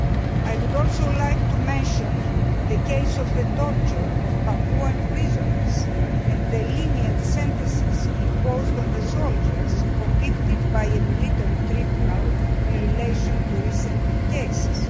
I would also like to mention the case of the torture of Papuan prisoners and the lenient sentences imposed on the soldiers convicted by a military tribunal in relation to recent cases.